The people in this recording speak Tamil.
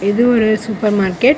இது ஒரு சூப்பர் மார்க்கெட் .